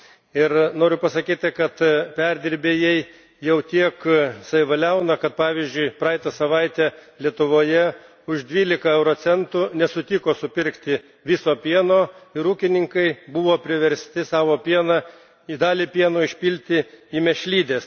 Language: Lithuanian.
Ir noriu pasakyti, kad perdirbėjai jau tiek savivaliauja, kad ,pavyzdžiui, praeitą savaitę Lietuvoje už dvylika euro centų nesutiko supirkti viso pieno ir ūkininkai buvo priversti dalį pieno išpilti į mėšlides.